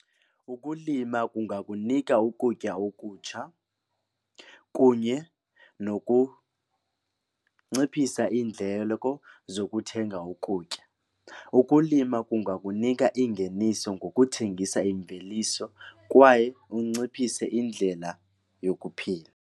Ukulima kungakunika ukutya okutsha kunye nokunciphisa iindleko zokuthenga ukutya. Ukulima kungakunika ingeniso ngokuthengisa imveliso kwaye unciphise indlela yokuphila.